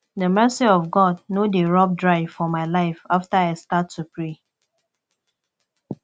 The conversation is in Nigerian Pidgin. the mercy of god no dey rub dry for my life after i start to pray